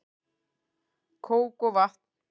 Kók og vatn